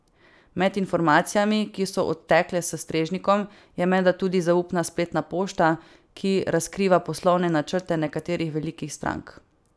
Med informacijami, ki so odtekle s strežnikov, je menda tudi zaupna spletna pošta, ki razkriva poslovne načrte nekaterih velikih strank.